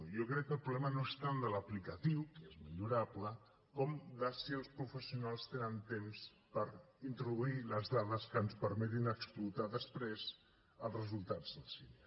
jo crec que el problema no és tant de l’aplicació que és millorable com de si els professionals tenen temps per introduir les dades que ens permetin explotar després els resultats del sini